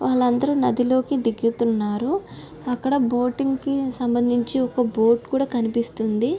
వాలు అందరూ నది లోకి దిగుతున్నారు. అక్కడ బోటింగ్ సంబంధించి ఒక బోర్డు కూడా కనిపిస్తుంది.